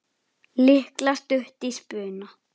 Lilla stutt í spuna.